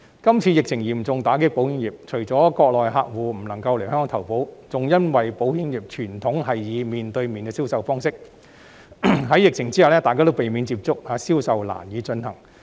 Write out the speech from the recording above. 這次疫情嚴重打擊保險業，除了國內客戶不能來港投保，亦因為保險業的傳統是以面對面方式進行銷售，但疫情下大家避免有接觸，致令銷售難以進行。